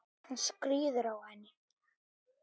Hann skríður á henni.